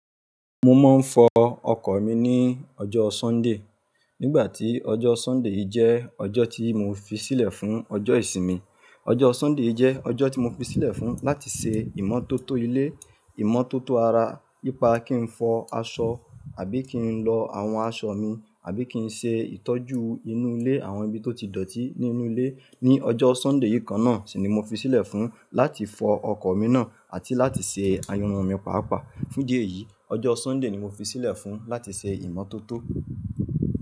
Mo máa ń fọ ọkọ̀ mi ní ọjọ́ Sunday. Nígbà tí ọjọ́ Sunday jẹ́ ọjọ́ tí mo fi sílẹ̀ fún ọjọ́ ìsinmi. Ọjọ́ Sunday yii jẹ́ ọjọ́ tí mo fi sílẹ̀ fún láti se ìmọ́tótó ilé, ìmọ́tótó ara, ipá kí n fọ aṣọ àbí kí n lọ àwọn aṣọ mi, àbí kí n ṣe ìtọ́jú inú ilé, àwọn ibi tó ti dọ̀tí nínú ilé. Ni ọjọ́ Sunday yìí kan náà sì ni mo fi sílẹ̀ fún láti fọ ọkọ̀ mi náà àti láti se ayan irun mi pàápàá. Fún dí eeyìí, ọjọ́ Sunday ni mo fi sílẹ̀ fún láti se ìmọ́tótó.